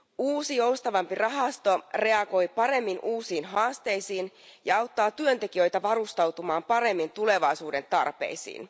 Uusi, joustavampi rahasto reagoi paremmin uusiin haasteisiin ja auttaa työntekijöitä varustautumaan paremmin tulevaisuuden tarpeisiin.